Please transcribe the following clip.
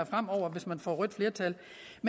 fremover hvis man får rødt flertal